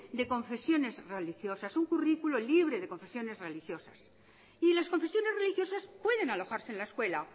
de confesiones religiosas un currículo libre de confesiones religiosas y las confesiones religiosas pueden alojarse en la escuela